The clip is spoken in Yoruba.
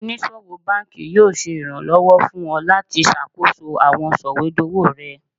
Onisowo banki yoo ṣe iranlọwọ fun ọ lati ṣakoso awọn sọwedowo rẹ